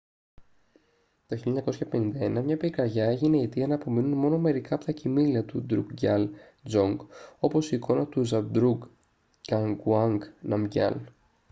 το 1951 μια πυρκαγιά έγινε η αιτία να απομείνουν μόνο μερικά από τα κειμήλια του ντρουκγκιάλ ντζονγκ όπως η εικόνα του ζαμπντρούγκ νγκαγουάνγκ ναμγκιάλ